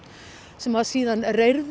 sem var síðan